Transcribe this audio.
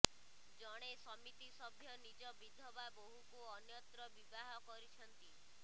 ଜଣେ ସମିତିସଭ୍ୟ ନିଜ ବିଧବା ବୋହୂକୁ ଅନ୍ୟତ୍ର ବିବାହ କରିଛନ୍ତି